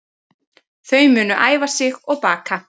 Þau munu æfa sig og baka